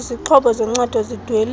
izixhobo zoncedo zidweliswa